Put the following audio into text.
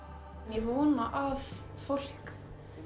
ég vona að fólk